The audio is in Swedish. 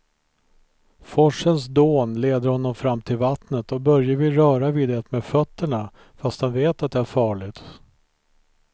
Forsens dån leder honom fram till vattnet och Börje vill röra vid det med fötterna, fast han vet att det är farligt.